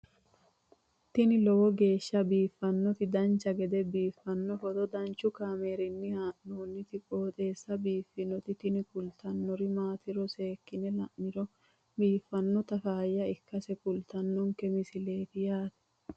tini lowo geeshsha biiffannoti dancha gede biiffanno footo danchu kaameerinni haa'noonniti qooxeessa biiffannoti tini kultannori maatiro seekkine la'niro biiffannota faayya ikkase kultannoke misileeti yaate